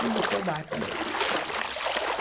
Ele mostrou o barco dele.